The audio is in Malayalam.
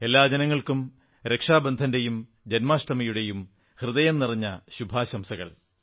എല്ലാ ജനങ്ങൾക്കും രക്ഷബന്ധന്റെയും ജന്മാഷ്ടമിയുടെയും ഹൃദയം നിറഞ്ഞ ശുഭാശംസകൾ